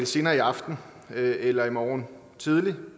senere i aften eller i morgen tidlig